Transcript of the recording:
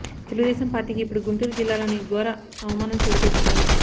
తెలుగుదేశం పార్టీకి ఇప్పుడు గుంటూరు జిల్లాలోని ఘోర అవమానం చోటు చేసుకుంది